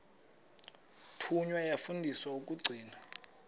thunywa yafundiswa ukugcina